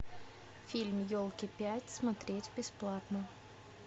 фильм елки пять смотреть бесплатно